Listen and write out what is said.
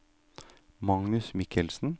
Magnus Michelsen